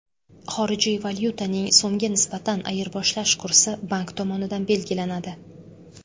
Xorijiy valyutaning so‘mga nisbatan ayirboshlash kursi bank tomonidan belgilanadi.